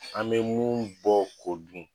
An be mun bɔ ko dun